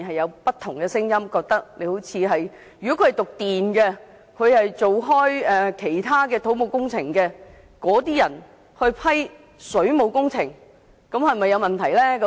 有業內人士認為，由修讀電工或一直從事土木工程的人士批核水務工程，可能存在問題。